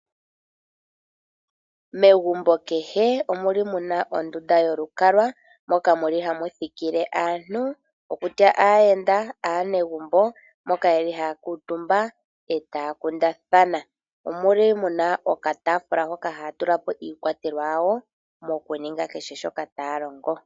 Megumbo kehe omuli muna ondunda yolukalwa moka muli hamu thikile aantu okutya aayenda nenge aanegumbo moka yeli hayayi etaya kundathana omolwa muli muna okatafula haka haya tulapo iikwatelwa yawo moku ninga kehe shoka taya longo.